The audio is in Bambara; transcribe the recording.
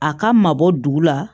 A ka mabɔ dugu la